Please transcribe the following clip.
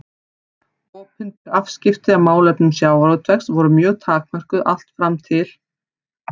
Opinber afskipti af málefnum sjávarútvegs voru mjög takmörkuð allt fram til